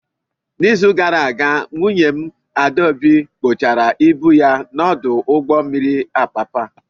N'izu gara aga, nwunye m, Adaobi, kpochara ibu ya n'ọdụ ụgbọ mmiri Apapa.